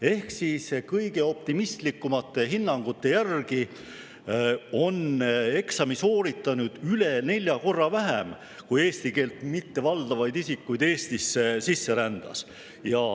Ehk siis kõige optimistlikumate hinnangute järgi on eksami sooritanuid üle nelja korra vähem, kui eesti keelt mittevaldavaid isikuid Eestisse sisse rändas.